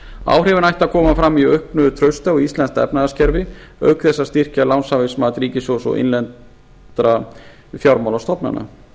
áhrifin ættu að koma fram í auknu trausti á íslenskt efnahagskerfi auk þess að styrkja lánshæfismat ríkissjóðs og innlendra fjármálastofnana